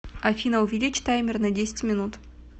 афина увеличь таймер на десять минут